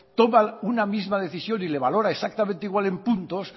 toma una misma decisión y le valora exactamente igual en puntos